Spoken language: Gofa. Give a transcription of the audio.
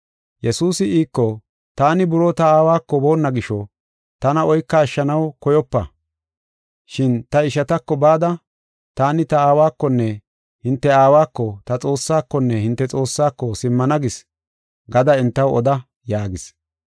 Yesuusi iiko, “Taani buroo ta Aawako boonna gisho, tana oykofa. Shin ta ishatako bada, ‘Taani ta Aawakonne hinte Aawako, ta Xoossaakonne hinte Xoossaako, simmana gis’ gada entaw oda” yaagis.